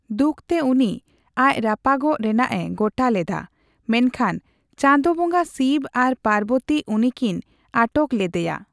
ᱫᱩᱠᱛᱮ ᱩᱱᱤ ᱟᱡ ᱨᱟᱯᱟᱜᱚᱜ ᱨᱮᱱᱟᱜ ᱮ ᱜᱚᱴᱟ ᱞᱮᱫᱟ, ᱢᱮᱱᱠᱷᱟᱱ ᱪᱟᱸᱫᱳ ᱵᱚᱸᱜᱟ ᱥᱤᱵᱽ ᱟᱨ ᱯᱟᱨᱵᱚᱛᱤ ᱩᱱᱤᱠᱤᱱ ᱟᱴᱚᱠ ᱞᱮᱫᱭᱟ ᱾